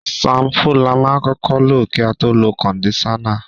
Ṣampú la máa kọ́kọ́ lò kí a tó lo kọ̀ndíṣánnà